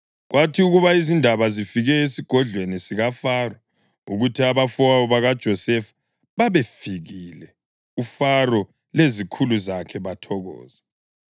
Kwathi ukuba izindaba zifike esigodlweni sikaFaro ukuthi abafowabo bakaJosefa babefikile, uFaro lezikhulu zakhe bathokoza.